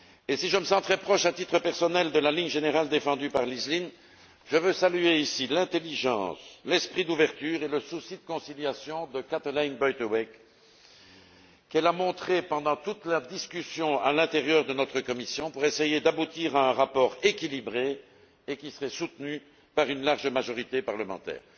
Si je me sens très proche, à titre personnel, de la ligne générale défendue par Elizabeth Lynne, je veux saluer ici l'intelligence, l'esprit d'ouverture et le souci de conciliation dont Kathalijne Buitenweg a fait preuve pendant toute la discussion au sein de notre commission pour essayer d'aboutir à un rapport équilibré et qui serait soutenu par une large majorité parlementaire.